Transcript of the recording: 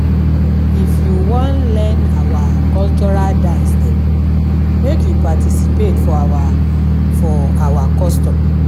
If you wan learn our cultural dance dem, make you participate for our for our custom.